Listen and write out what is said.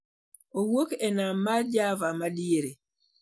owuoke nam ma Java ma diere.